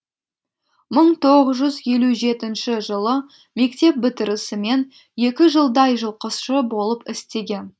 мың тоғыз жүз елу жетінші жылы мектеп бітірісімен екі жылдай жылқышы болып істеген